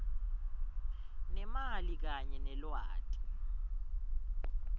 nemali kanye nelwati